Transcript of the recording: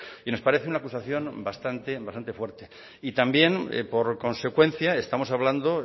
y nos parece una acusación bastante bastante fuerte también por consecuencia estamos hablando